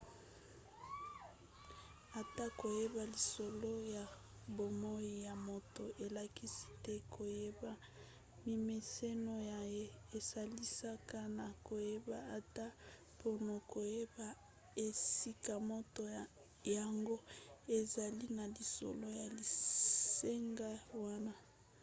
ata koyeba lisolo ya bomoi ya moto elakisi te koyeba mimeseno na ye esalisaka na koyeba ata mpona koyeba esika moto yango azali na lisolo ya lisanga wana